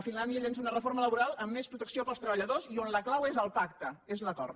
finlàndia llança una reforma laboral amb més protecció per als treballadors i on la clau és el pacte és l’acord